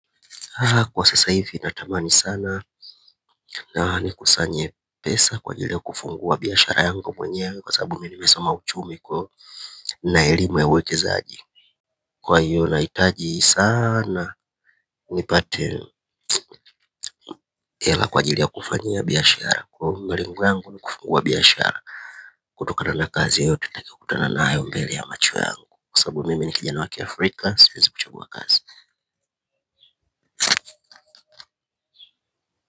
Kwa sasa hivi natamani sana na nikusanye pesa kwa ajili ya kufungua biashara yangu mwenyewe kwa sababu mimi nimesoma uchumi na elimu ya uwekezaji. Kwa hiyo nahitaji sana nipate hela kwa ajili ya kufanyia biashara kwa hiyo malengo yangu ni kufungua biashara. Kutokana na kazi yoyote nitakayo kutana nayo mbele ya macho yangu kwa sababu mimi ni kijana wa Kiafrika siwezi kuchagua kazi.